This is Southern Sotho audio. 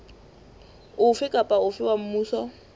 ofe kapa ofe wa mmuso